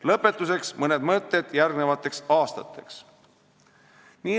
Lõpetuseks mõned mõtted järgmisteks aastateks.